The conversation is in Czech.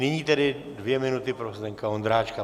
Nyní tedy dvě minuty pro Zdeňka Ondráčka.